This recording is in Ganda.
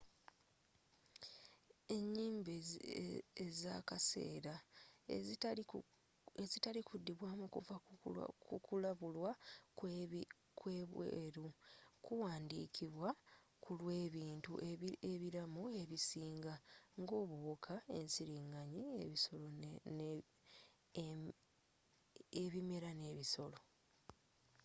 enyimba ezakaseera ezitali kudibwamu kuva kukulabulwa kwebweru kuwandikidwa kulwebintu ebiramu ebisinga nga obuwuka ensiringanyi ebimera n'ebisolo